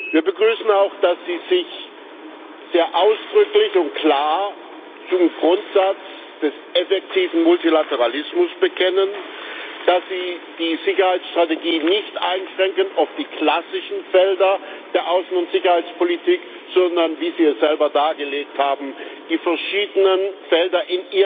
Wir begrüßen auch, dass Sie sich sehr ausdrücklich und klar zum Grundsatz des effektiven Multilateralismus bekennen, dass Sie die Sicherheitsstrategie nicht auf die klassischen Felder der Außen und Sicherheitspolitik einschränken, sondern wie Sie es selber dargelegt haben die verschiedenen Felder